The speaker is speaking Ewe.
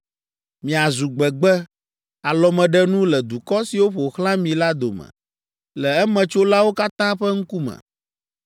“Miazu gbegbe, alɔmeɖenu le dukɔ siwo ƒo xlã mi la dome, le emetsolawo katã ƒe ŋkume.